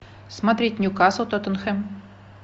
смотреть нью касл тоттенхэм